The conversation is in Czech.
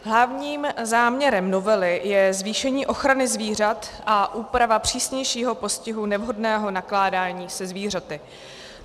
Hlavním záměrem novely je zvýšení ochrany zvířat a úprava přísnějšího postihu nevhodného nakládání se zvířaty.